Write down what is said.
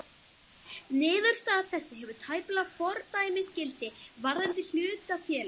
Niðurstaða þessi hefur tæplega fordæmisgildi varðandi hlutafélög.